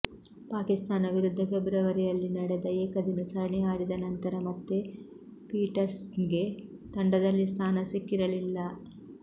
ಪಾಕಿಸ್ತಾನ ವಿರುದ್ಧ ಫೆಬ್ರವರಿಯಲ್ಲಿ ನಡೆದ ಏಕದಿನ ಸರಣಿ ಆಡಿದ ನಂತರ ಮತ್ತೆ ಪೀಟರ್ಸನ್ಗೆ ತಂಡದಲ್ಲಿ ಸ್ಥಾನ ಸಿಕ್ಕಿರಲಿಲ್ಲ